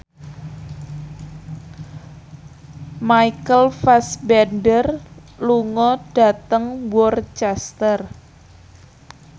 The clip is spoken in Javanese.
Michael Fassbender lunga dhateng Worcester